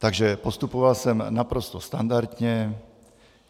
Takže postupoval jsem naprosto standardně.